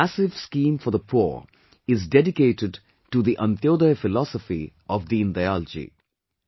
Such a massive scheme for the poor is dedicated to the Antyodaya philosophy of Deen Dayal ji